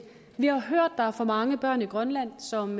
vi har hørt at der er for mange børn i grønland som